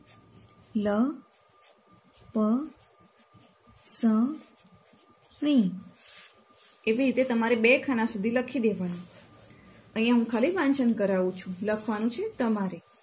લપસણી એવી રીતે તમારે બે ખાના સુધી લખીદેવાનું અહિયાં હું ખાલી વાંચન કરવું છું લખવાનું છે તમારે